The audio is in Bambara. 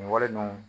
Nin wale ninnu